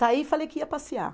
Saí e falei que ia passear.